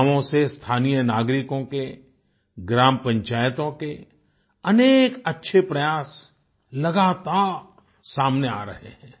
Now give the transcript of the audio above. गांवो से स्थानीय नागरिकों के ग्राम पंचायतों के अनेक अच्छे प्रयास लगातार सामने आ रहे हैं